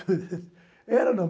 Era ou não?